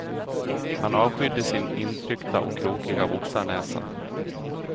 Han avskydde sin intryckta och krokiga boxarnäsa.